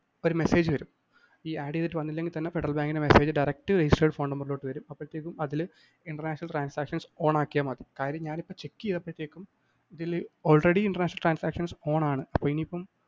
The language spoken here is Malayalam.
ഒരു message വരും. ഈ add ചെയ്തിട്ട് വന്നില്ലെങ്കില്‍തന്നെ ഫെഡറല്‍ ബാങ്കിന്റെ message directregistered ഫോണ്‍ നമ്പരിലോട്ട് വരും. അപ്പഴത്തേക്കും international transactions on ആക്കിയാല്‍ മതി. കാര്യം ഞാനിപ്പോ check ചെയ്തപ്പഴത്തെക്കും ഇതില് already international transactions on ആണ്. അപ്പൊ ഇനിയിപ്പം